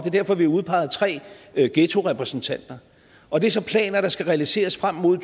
er derfor vi har udpeget tre ghettorepræsentanter og det er så planer der skal realiseres frem mod